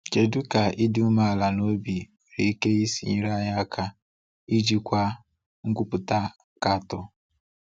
Kedu ka ịdị umeala n’obi nwere ike isi nyere anyị aka ijikwa nkwupụta nkatọ?